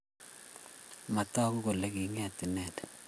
Matagu kole kinget inendet